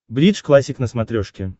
бридж классик на смотрешке